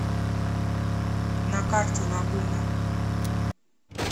на карте лагуна